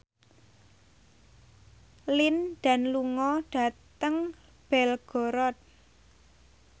Lin Dan lunga dhateng Belgorod